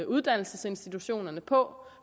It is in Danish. uddannelsesinstitutionerne på